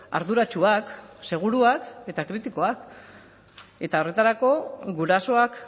arduratsuak seguruak eta kritikoak eta horretarako gurasoak